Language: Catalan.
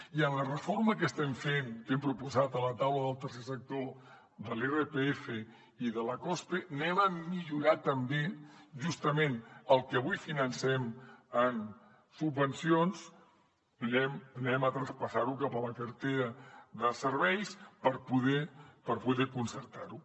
i en la reforma que estem fent que hem proposat a la taula del tercer sector de l’irpf i de la cospe anem a millorar també justament el que avui financem en subvencions ho traspassem cap a la cartera de serveis per poder concertar ho